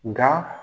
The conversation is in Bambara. Nka